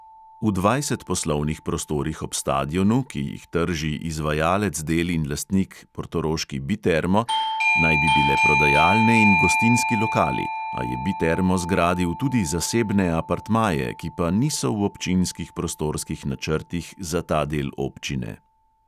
V dvajset poslovnih prostorih ob stadionu, ki jih trži izvajalec del in lastnik portoroški bitermo, naj bi bile prodajalne in gostinski lokali, a je bitermo zgradil tudi zasebne apartmaje, ki pa niso v občinskih prostorskih načrtih za ta del občine.